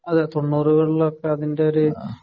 അതേ, തൊണ്ണൂറുകളില്‍ ഒക്കെ അതിന്‍റെ ഒരു